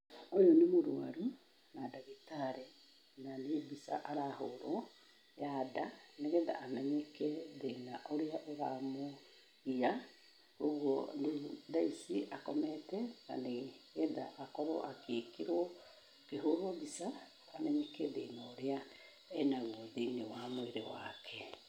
Ũyũ nĩ mũrwaru, na ndagĩtarĩ, na nĩ mbica arahũrwo ya nda, nĩgetha amenyeke thĩna ũrĩa ũramũgia, ũguo rĩu tha ici, akomete, na nĩgetha akorwo agĩkĩrwo, akĩhũrwo mbica, amenyeke thĩna ũrĩa e naguo thĩ-inĩ wa mwĩrĩ wake.